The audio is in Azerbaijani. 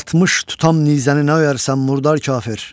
60 tutam nizəni nə öyərsən, murdar kafir?